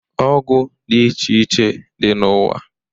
Ọgwụ dị iche iche dị n'ụwa.